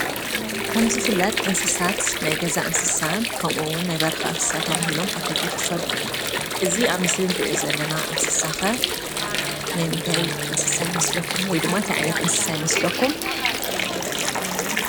ከም ዝፍለጥ እንስሳት ናይ ገዛ እንስሳን ከምኡ እውን ናይ በረካን እንስሳን እናተባህሉ ኣብ ክልተ ይክፈሉ። እዙይ ኣብ ምስሊ እንርእዮ ዘለና እንስሳ ከ ናይ ምንታይ እንስሳ ይመስለኩም ?ወይ ድማ እንታይ ዓይነት እንስሳ ይመስለኩም?